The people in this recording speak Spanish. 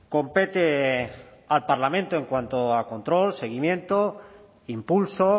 compete al parlamento en cuanto a control seguimiento impulso